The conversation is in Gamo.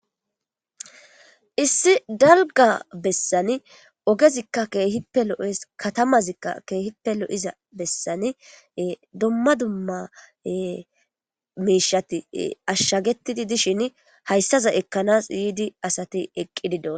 issi dalga bessani ogezikka keehippe lo7es katamazikka keehippe lo7iza bessani dumma dumma miishati ashshagetidi dishin hayssaza ekkanas yiidi asati eqqidi doosona.